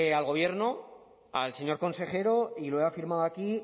al gobierno al señor consejero y lo he afirmado aquí